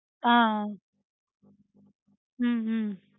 ஆஹ் ஆஹ் உம் உம்